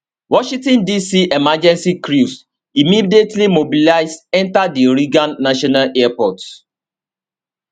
washington dc emergency crews immediately mobilize enta di reagan national airport